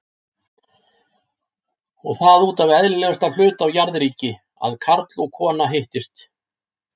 Og það útaf eðlilegasta hlut á jarðríki- að karl og kona hittist!